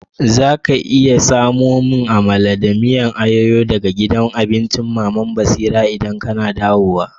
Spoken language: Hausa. Za ka iya samo mun Amala da miyan ayoyo daga gidan abincin Mama'n Basira idan kana dawowa?